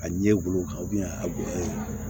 A ɲɛ golo kan a bonya